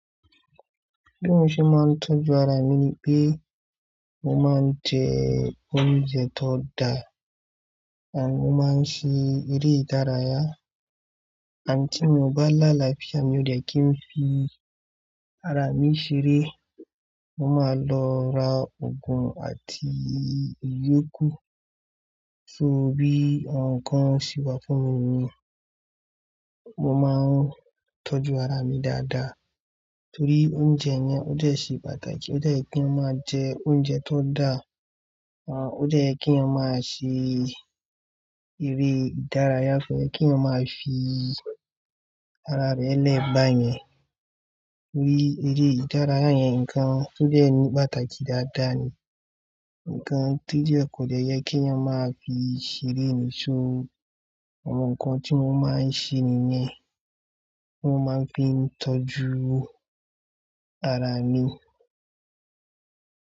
Bí mo ṣe máa ń tọ́jú ara mi pé mo máa ń jẹ oúnjẹ tó da, àbí mo máa ń ṣe eré ìdárayá. Àǹtí mi ba lá láfiá mi wí pé kí n fi ara mi ṣeré. Mo máa lọ ra oògùn àti ìyókù. So bí ǹkan ṣe wà fún mi niyen, mo máa ń tọ́jú ara mi dáadáa torí oúnjẹ yẹn ó jẹ́ ṣì pàtàkì. Ó jẹ́ kí a máa jẹ oúnjẹ tó da. Àn, ó jẹ́ kí a máa ṣe eré ìdárayá fún kí a máa fi ara rẹ lẹ́bà yẹn. Ní eré ìdárayá yẹn, ǹkan tó jẹ́ ní pàtàkì dáadáa ni. Ǹkan tí ó jẹ́ kò de jẹ́ kí yan máa fi ṣeré ní so àwọn nǹkan tí mo máa ń ṣe nìyẹn. Mo máa ń fi tọ́jú ara mi.